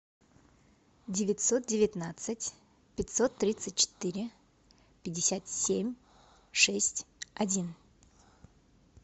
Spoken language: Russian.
девятьсот девятнадцать пятьсот тридцать четыре пятьдесят семь шесть один